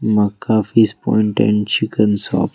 Mecca fish point and chicken shop.